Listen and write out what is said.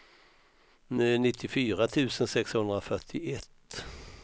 nittiofyra tusen sexhundrafyrtioett